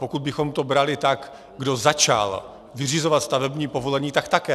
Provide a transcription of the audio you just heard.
Pokud bychom to brali tak, kdo začal vyřizovat stavební povolení, tak také.